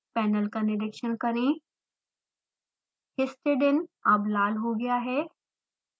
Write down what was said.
panel का निरिक्षण करें histidine अब लाल हो गया है